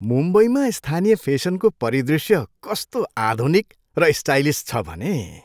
मुम्बईमा स्थानीय फेसनको परिदृश्य कस्तो आधुनिक र स्टाइलिस छ भने।